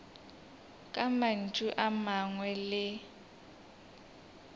ka mantšu a mangwe le